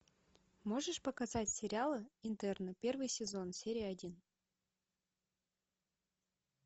можешь показать сериал интерны первый сезон серия один